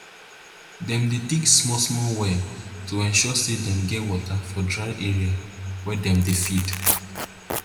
dem dey dig smallsmall well to ensure say dem get water for dry area wey dem dey feed